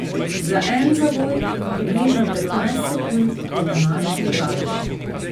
Za en zavoj in približno petnajst sekund je današnji daljši.